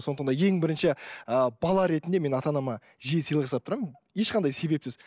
сондықтан да ең бірінші ііі бала ретінде мен ата анама жиі сыйлық жасап тұрамын ешқандай себепсіз